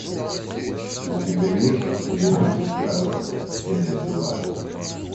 у тебя есть сериальчик касл серия два